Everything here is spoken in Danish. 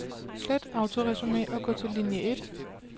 Slet autoresumé og gå til linie et.